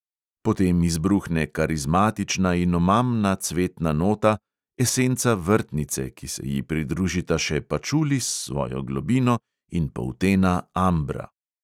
Potem izbruhne karizmatična in omamna cvetna nota – esenca vrtnice, ki se ji pridružita še pačuli s svojo globino in poltena ambra.